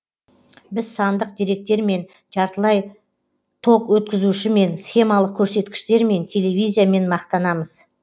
біз сандық деректермен жартылай ток өткізушімен схемалық көрсеткіштермен телевизиямен мақтанамыз